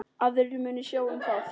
Aðrir munu sjá um það.